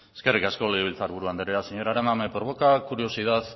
eskerrik asko legebiltzarburu andrea señora arana me provoca curiosidad